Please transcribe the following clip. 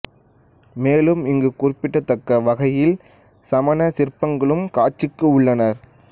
மேலும் இங்கு குறிப்பிடத்தக்க வகையில் சமண சிற்பங்களும் காட்சிக்கு உள்ளன